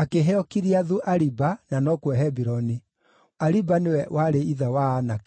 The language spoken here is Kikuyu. akĩheo Kiriathu-Ariba, na nokuo Hebironi. (Ariba nĩwe warĩ ithe wa Anaki).